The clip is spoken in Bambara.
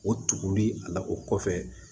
O tuguli a la o kɔfɛ